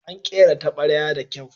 An kera tabarya da kyau.